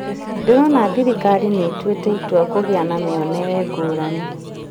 Ndĩrona thirikari nĩ ĩtuĩte itua kũgia na muonere ngũrani